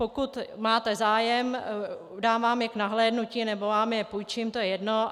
Pokud máte zájem, dám vám je k nahlédnutí nebo vám je půjčím, to je jedno.